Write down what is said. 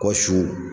Kɔ su